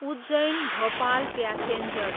Ujjain, Bhopal passenger